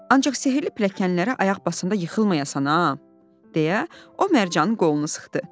Ancaq sehirli piləkənlərə ayaq basanda yıxılmayasan ha, deyə o Mərcanın qolunu sıxdı.